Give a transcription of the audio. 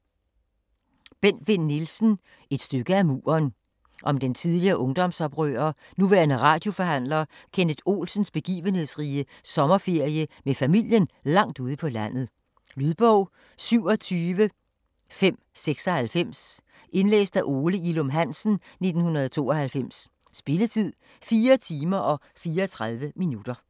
Vinn Nielsen, Bent: Et stykke af muren Om den tidligere ungdomsoprører, nuværende radioforhandler, Kenneth Olsens begivenhedsrige sommerferie med familien langt ude på landet. Lydbog 27596 Indlæst af Ole Ilum Hansen, 1992. Spilletid: 4 timer, 34 minutter.